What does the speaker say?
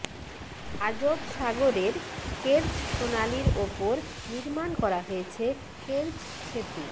Azov সাগরের Kerch প্রণালীর ওপর নির্মাণ করা হয়েছে কের্চ সেতু